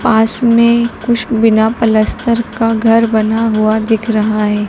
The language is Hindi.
पास में कुछ बिना पलस्तर का घर बना हुआ दिख रहा है।